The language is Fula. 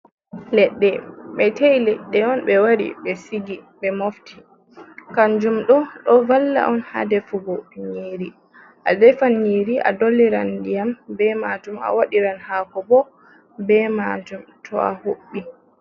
Ledɗe ɓe tei leɗɗe on ɓe wari ɓe sigi ɓe mofti, kanjum ɗo ɗo valla on ha defugo nyiri a defan nyeri, a dolliran diyam be majum, a waɗiran hako bo be majum to a huɓɓi.